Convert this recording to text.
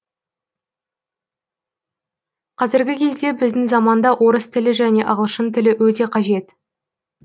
қазіргі кезде біздің заманда орыс тілі және ағылшын тілі өте қажет